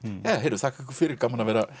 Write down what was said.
þakka ykkur fyrir gaman að vera